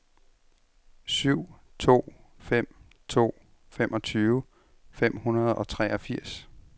syv to fem to femogtyve fem hundrede og treogfirs